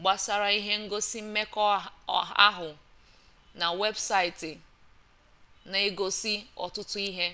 gbasara ihe ngosi mmekọahụ na webụsaịtị na-egosi ọtụtụ ihe